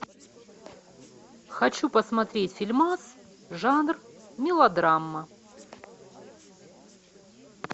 хочу посмотреть фильмас жанр мелодрама